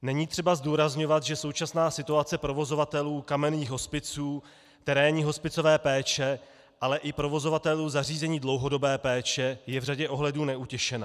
Není třeba zdůrazňovat, že současná situace provozovatelů kamenných hospiců, terénní hospicové péče, ale i provozovatelů zařízení dlouhodobé péče je v řadě ohledů neutěšená.